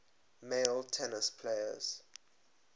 male tennis players